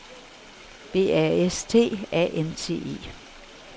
B A S T A N T E